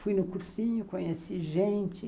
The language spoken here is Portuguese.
Fui no cursinho, conheci gente.